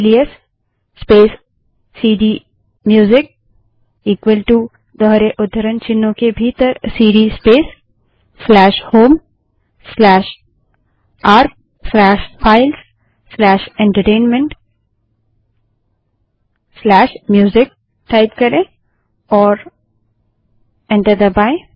alias space cd music equal to दोहरे उद्धरण चिन्हों के भीतर cd space home arc files entertainment music type करें और एंटर दबायें